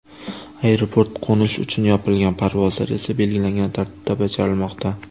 Aeroport qo‘nish uchun yopilgan, parvozlar esa belgilangan tartibda bajarilmoqda.